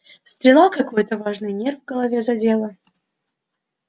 стрела какой-то важный нерв в голове задела